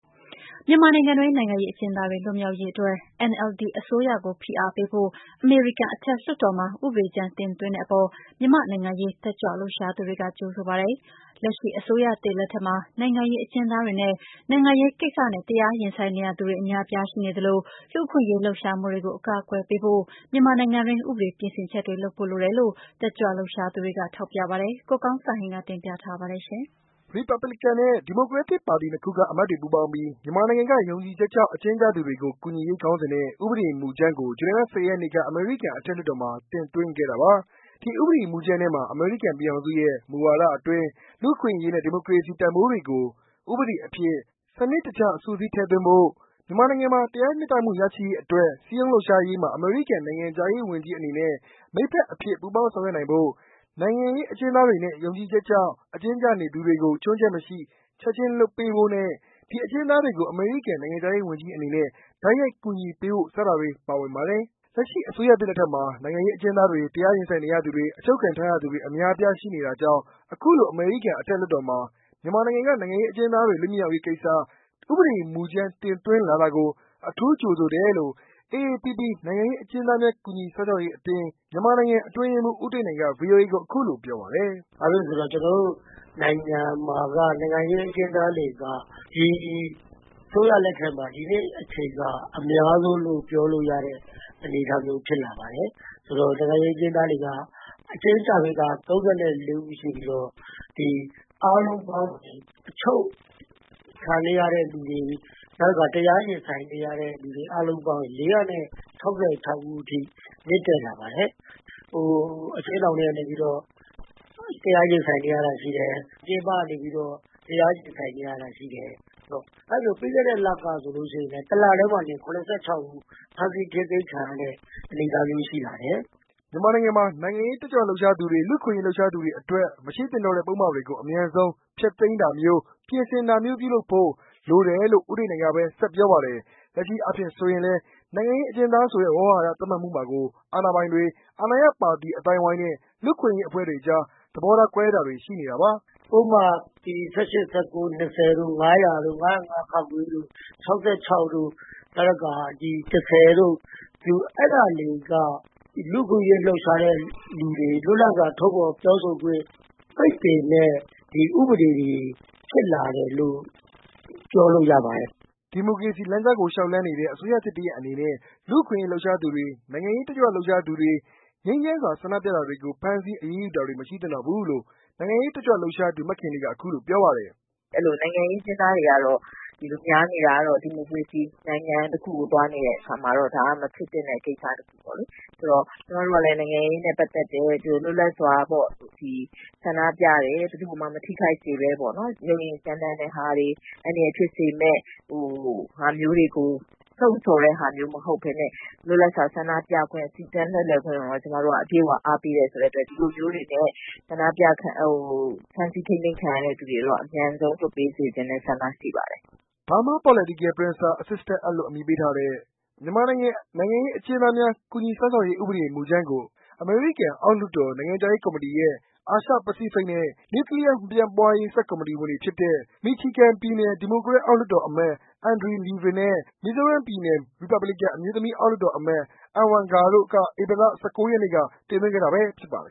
မြန်မာနိုင်ငံတွင်း နိုင်ငံရေးအကျဉ်းသားတွေ လွတ်မြောက်ရေးအတွက် NLD အစိုးရကို ဖိအားပေးဖို့ အမေရိကန်အထက်လွှတ်တော်မှာ ဥပဒေကြမ်းတင်သွင်းတဲ့အပေါ် မြန်မာ့နိုင်ငံရေး တတ်ကြွလှုပ်ရှားသူတွေက ကြိုဆိုပါတယ်။ လက်ရှိအစိုးရသစ်လက်ထက်မှာ နိုင်ငံရေးအကျဉ်းသားတွေနဲ့ နိုင်ငံရေးကိစ္စနဲ့ တရားရင်ဆိုင်နေရသူတွေ အများအပြားရှိနေသလို၊ လူ့အခွင့်အရေးလှုပ်ရှားမှုတွေကို အကာအကွယ်ပေးဖို့ မြန်မာနိုင်ငံတွင်း ဥပဒေပြင်ဆင်ချက်တွေလုပ်ဖို့ လိုတယ်လို့ တတ်ကြွလှုပ်ရှားသူတွေက ထောက်ပြပါတယ်။ ကိုကောင်းစံဟိန်း တင်ပြထားပါတယ်။ ရီပါပလင်ကန်နဲ့ ဒီမိုကရက်ပါတီနှစ်ခုက အမတ်တွေပူးပေါင်းပြီး မြန်မာနိုင်ငံကယုံကြည်ချက်ကြောင့် အကျဉ်းကျသူတွေကို ကူညီရေး ခေါင်းစဉ်နဲ့ ဥပဒေမူကြမ်းကို ဇူလိုင်လ ၁၀ ရက်နေ့က အမေရိကန်အထက်လွှတ်တော်မှာ တင်သွင်းခဲ့တာပါ။ ဒီဥပဒေမူကြမ်းထဲမှာ အမေရိကန်ပြည်ထောင်စုရဲ့ မူဝါဒအတွင်း လူ့အခွင့်အရေးနဲ့ ဒီမိုကရေစီ တန်ဖိုးတွေကို ဥပဒေအဖြစ် စနစ်တကျ စုစည်းထည့်သွင်းဖေါ်ပြဖို့၊ မြန်မာနိုင်ငံမှာ တရားမျှတမှု ရရှိရေးအတွက် စည်းရုံးလှုပ်ရှားရေးမှာ အမေရိကန်နိုင်ငံခြားရေးဝန်ကြီး အနေနဲ့ မိတ်ဖက်အဖြစ် ပူးပေါင်းဆောင်ရွက်ဖို့၊ နိုင်ငံရေးအကျဉ်းသားတွေနဲ့ ယုံကြည်ချက်ကြောင့် အကျဉ်းကျ နေသူတွေကို ချွင်းချက်မရှိ ချက်ချင်းလွှတ်ပေးဖို့နဲ့၊ ဒီအကျဉ်းသားတွေကို အမေရိကန် နိုင်ငံခြားရေးဝန်ကြီး အနေနဲ့ တိုက်ရိုက် ကူညီပံ့ပိုးဖို့ စတာတွေပါဝင်ပါတယ်။ လက်ရှိ အစိုးရသစ်လက်ထက်မှာ နိုင်ငံရေးအကျဉ်းသားတွေ၊ တရားရင်ဆိုင်နေရသူတွေ ၊အချုပ်ခံထားရသူတွေ အများအပြားရှိနေတာကြောင့် အခုလို အမေရိကန် အထက်လွှတ်တော်မှာ မြန်မာနိုင်ငံက နိုင်ငံရေးအကျဉ်းသား တွေလွတ်မြောက်ရေး ကိစ္စ ဥပဒေမူကြမ်းတင်သွင်းလာတာကို အထူးကြိုဆိုတယ်လို့ AAPP နိုင်ငံရေးအကျဉ်းသားများကူညီစောင့်ရှောက်ရေးအသင်း အတွင်းရေးမှူး ဦးတိတ်နိုင်က VOAကိုပြောပါတယ်။ “ဘာဖြစ်လို့လဲဆိုတော့ ကျနော်တို့ နိုင်ငံမှာက နိုင်ငံရေးအကျဉ်းသားတွေက ဒီအစိုးရလက်ထက်မှာ ဒီနှစ်အချိန်အခါမှာ အများဆုံးလို့ ပြောလို့ရတဲ့အနေအထားဖြစ်လာပါတယ်။ နိုင်ငံရေးအကျဉ်းသားတွေက အကျဉ်းကျတာ ၃၄ ဦးရှိပြီးတော့ အားလုံးပေါင်း အချုပ်ခံနေရတဲ့လူတွေ၊ တရားရင်ဆိုင်နေရတဲ့လူတွေ အားလုံး ၄၆၆ ဦးအထိ မြင့်တက်လာပါတယ်။ အကျဥ်းထောင်ထဲကနေပြီးတော့ တရားရင်ဆိုင်နေရတာရှိတယ်။ ပြင်ပကနေပြီးတော့ တရားရင်ဆိုင်နေရတာရှိတယ်။ ပြီးခဲ့တဲ့လကဆိုရင် ၁ လတည်းမှာတင် ၇၆ ဦး ဖမ်းဆီးထိန်းသိမ်းခံရတဲ့ အနေအထားမျိုးတွေရှိတယ်။” မြန်မာနိုင်ငံမှာ နိုင်ငံရေး တက်ကြွလှုပ်ရှားသူတွေ၊ လူ့အခွင့်အရေးလှုပ်ရှားသူတွေ အတွက် မရှိသင့်တော့တဲ့ ပုဒ်မတွေကို အမြန်ဆုံး ဖျက်သိမ်းတာမျိုး၊ပြင်ဆင်တာမျိုး ပြုလုပ်ဖို့ လိုတယ်လို့ ဦးတိတ်နိုင်ကဘဲ ဆက်ပြောပါတယ်။ လက်ရှိအားဖြင့်ဆိုရင်လည်း နိုင်ငံရေးအကျဉ်းသားဆိုတဲ့ ဝေါဟာရသတ်မှတ်မှုမှာကို အာဏာပိုင်တွေ၊ အာဏာရပါတီအသိုင်းအဝိုင်းနဲ့ လူ့အခွင့်အရေးအဖွဲ့တွေကြား သဘောကွဲတာတွေရှိပါတယ်။ “ ပုဒ်မ ၁၈-၁၉-၂၀ တို့ ၅၀၀ တို့ ၅၀၅ တို့ ၆၆ တို့ နောက်တခါ ၁၀ တို့ အဲဒါတွေက လူ့အခွင့်အရေးလှုပ်ရှားတဲ့လူတွေကို လွတ်လပ်စွာပြောဆိုထုတ်ဖော်ခွင့် ပိတ်ပင်တဲ့ ဥပဒေတွေလို့ ပြောလို့ရပါတယ်။” ဒီမိုကရေစီ လမ်းကြောင်းကို လျှောက်လမ်းနေတဲ့ အစိုးရသစ်တစ်ရပ်အနေနဲ့ လူ့အခွင့်အရေးလှုပ်ရှားသူတွေ၊ နိုင်ငံရေး တက်ကြွလှုပ်ရှားသူတွေ၊ငြိမ်းချမ်းစွာ ဆန္ဒပြတာတွေကို ဖမ်းဆီးအရေးယူတာမျိုးတွေ မရှိသင့်တော့ဘူးလို့ နိုင်ငံရေးတက်ကြွလှုပ်ရှားသူ မခင်လေးက အခုလိုပြောပါတယ်။ “နိုင်ငံရေးအကျဉ်းသားတွေများနေတာကတော့ ဒီမိုကရေစီနိုင်ငံ တခုကိ ုသွားနေတဲ့ အခါမှာတော့ ဒါကတော့ မဖြစ်သင့်တဲ့ ကိစ္စတခုပေါ့လေ။ ဆိုတော့ ကျမတို့ကလည်း နိုင်ငံရေးနဲ့ ပတ်သက်တယ်။ လွတ်လပ်စွာဆန္ဒပြတယ်။ ဘယ်သူ့ကိုမှ မထိခိုက်စေပဲ ပေါ့နော် ၊ ကြမ်းတမ်းတဲ့ဟာတွေ အန္တရာယ်ဖြစ်စေမယ့်ဟာမျိုးတွေကို လှုံ့ဆော်တဲ့ဟာမျိုးမဟုတ်ပဲနဲ့ လွတ်လပ်စွာ ဆန္ဒပြခွင့် စီတန်းခွင့်တို့ကို ကျမတို့က အပြည့်အ၀ အားပေးတဲ့အတွက် ဒီလိုမျိုးတွေနဲ့ ဖမ်းဆီးထိန်းသိမ်းခံရသူတွေကို အမြန်ဆုံးလွှတ်ပေးစေချင်တဲ့ ဆန္ဒရှိပါတယ်။” Burma Political Prisoners Assistance Act လို့ အမည်ပေးထားတဲ့ မြန်မာနိုင်ငံ နိုင်ငံရေးအကျဉ်းသားများ ကူညီစောင့်ရှောက်ရေး ဥပဒေမူကြမ်းကို အမေရိကန်အောက်လွှတ်တော် နိုင်ငံခြားရေးကော်မတီရဲ့ အာရှ ပစိဖိတ်နဲ့ နျူကလီးယား မပြန့်ပွားရေး ဆပ်ကော်မတီ ဝင်တွေဖြစ်တဲ့ Michigan ပြည်နယ် ဒီမိုကရက် အောက်လွှတ်တော်အမတ် Andy Levin နဲ့ Missouri ပြည်နယ် ရီပါပလင်ကန် အမျိုးသမီး အောက်လွှတ်တော်အမတ် Ann Wagner တို့က ဧပြီလ ရက်နေ့က တင်သွင်းခဲ့တာဖြစ်ပါတယ်